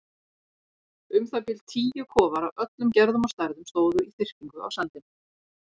Um það bil tíu kofar af öllum gerðum og stærðum stóðu í þyrpingu á sandinum.